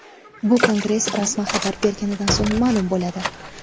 Bu Kongress rasman xabar berganidan so‘ng ma’lum bo‘ladi.